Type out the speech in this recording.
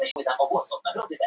Georgía, mun rigna í dag?